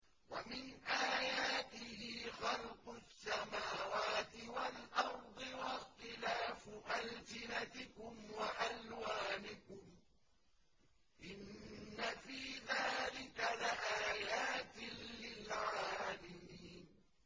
وَمِنْ آيَاتِهِ خَلْقُ السَّمَاوَاتِ وَالْأَرْضِ وَاخْتِلَافُ أَلْسِنَتِكُمْ وَأَلْوَانِكُمْ ۚ إِنَّ فِي ذَٰلِكَ لَآيَاتٍ لِّلْعَالِمِينَ